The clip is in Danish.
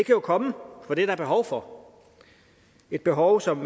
jo komme for det er der behov for et behov som